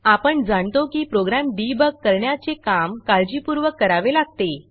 आपण जाणतो की प्रोग्रॅम डिबग करण्याचे काम काळजीपूर्वक करावे लागते